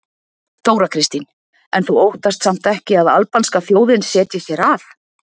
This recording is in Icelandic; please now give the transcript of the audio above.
Þóra Kristín: En þú óttast samt ekki að albanska þjóðin setjist hér að?